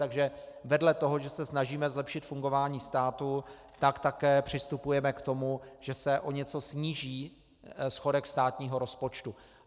Takže vedle toho, že se snažíme zlepšit fungování státu, tak také přistupujeme k tomu, že se o něco sníží schodek státního rozpočtu.